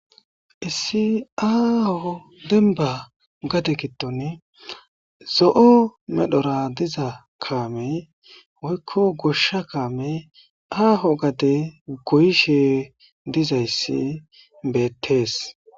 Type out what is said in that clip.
Issi aaho demba gaditon zo'o medhora diza kaame woykko goshsha kaame aaho gade goyishe dizayssi bettees.